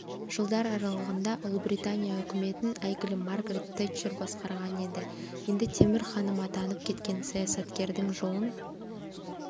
жылдар аралығында ұлыбритания үкіметін әйгілі маргарет тэтчер басқарған еді енді темір ханым атанып кеткен саясаткердің жолын